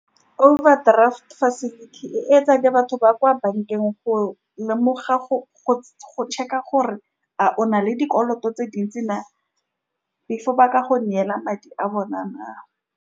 Overdraft facility e etswa ke batho ba kwa bankeng, go lemoga go-go check-a gore a o na le dikoloto tse dintsi na, before ba ka go neela madi a bona na.